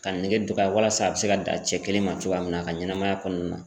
Ka nege dɔgɔya walasa a bɛ se ka dan cɛ kelen ma cogoya min na a ka ɲɛnɛmaya kɔnɔna na.